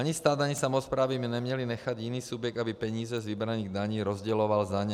Ani stát ani samosprávy by neměly nechat jiný subjekt, aby peníze z vybraných daní rozděloval za ně.